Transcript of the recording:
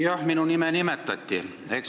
Jah, minu nime nimetati.